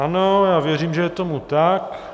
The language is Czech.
Ano, já věřím, že je tomu tak.